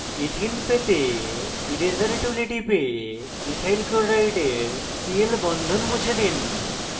ethene ethene পেতে eraser tool টিপে ethyl chloride cl bond মুছে দিন